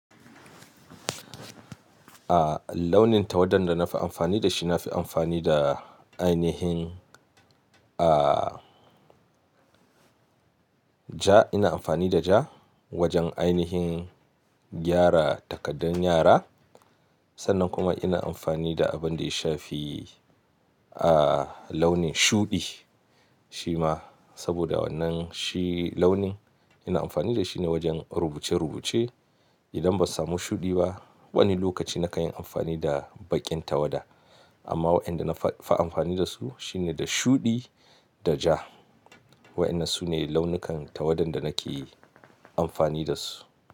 A launin tawadan da na fi amfani da shi, na fi amfani da ainihin a ja, ina amfani da ja wajen ainihin gyara takaddar yara. Sannan kuma ina amfani da abin da ya shafi a launin shuɗi. Shi ma saboda wannan shi launin ina amfani da shi ne wajen rubuce rubuce. Idan ban samu shuɗi ba, wani lokaci na kan yi amfani da baƙin tawada. Amma waɗanda na fi amfani da su shi ne da shuɗi da ja. Waɗannan su ne launukan tawadan da nake amfani da su.